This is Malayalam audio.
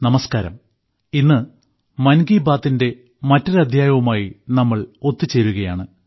നമസ്ക്കാരം ഇന്ന് മൻ കി ബാത്തിന്റെ മറ്റൊരു അദ്ധ്യായവുമായി നമ്മൾ ഒത്തുചേരുകയാണ്